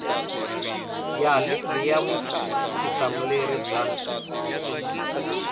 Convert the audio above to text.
ya livhi ya vutihlamuleri bya